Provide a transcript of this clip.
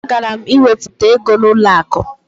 Agara m iwepụta ego n'ụlọakụ